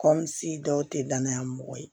Kɔmi sigi dɔw tɛ danaya mɔgɔ ye